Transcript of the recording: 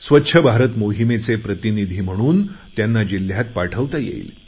स्वच्छ भारत मोहिमेचे प्रतिनिधी म्हणून त्यांना जिल्ह्यात पाठवता येईल